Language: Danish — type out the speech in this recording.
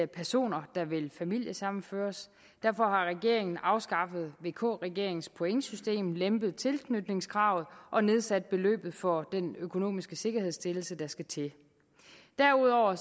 personer der vil familiesammenføres derfor har regeringen afskaffet vk regeringens pointsystem lempet tilknytningskravet og nedsat beløbet for den økonomiske sikkerhedsstillelse der skal til derudover